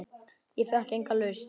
Ég fékk enga lausn.